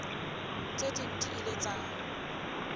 tse seng di ile tsa